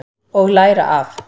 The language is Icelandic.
Og læra af.